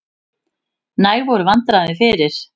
Næg voru vandræðin fyrir.